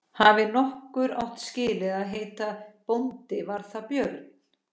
Hafi nokkur átt skilið að heita bóndi var það Björn.